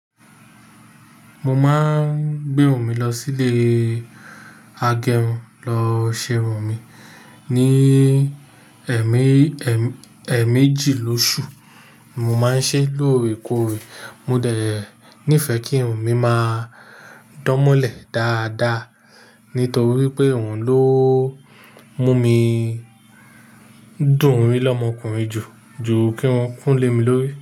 Mo máa ń gbé run mi lọ sílé agẹrun lọ ṣe irun mi ní ẹ̀ẹ́ méjì lóṣù. Mo máa ń ṣe lóore kóore. Mo dẹ̀ nífẹ̀ẹ́ kí irun mi máa dánmọ́lẹ̀ dáadáa. Nítorí pé òun ló mú mi dùn rí lọ́mọkùnrin jù, jù kí run kún lé mi lórí.